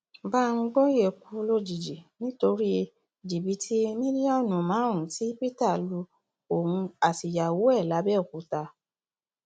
bámgbòyé kú lójijì nítorí jìbìtì mílíọnù márùnún tí peter lu òun àtìyàwó ẹ làbẹòkúta